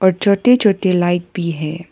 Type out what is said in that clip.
छोटे छोटे लाइट भी है।